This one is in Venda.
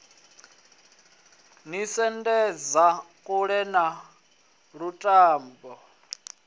ni sendedza kule na lutamo